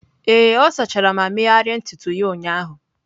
Ee, ọ sachara ma megharịa ntutu ya ụnyahụ